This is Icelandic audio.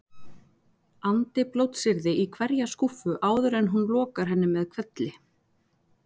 andi blótsyrði í hverja skúffu áður en hún lokar henni með hvelli.